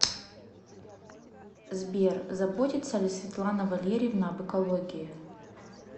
сбер заботится ли светлана валерьевна об экологии